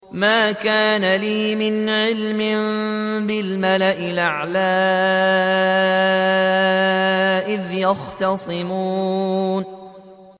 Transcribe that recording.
مَا كَانَ لِيَ مِنْ عِلْمٍ بِالْمَلَإِ الْأَعْلَىٰ إِذْ يَخْتَصِمُونَ